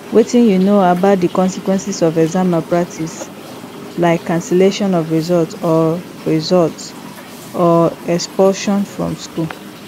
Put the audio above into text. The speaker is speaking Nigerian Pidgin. wetin you know about di consequences of exam malpractice like cancellation of results or results or expulsion from school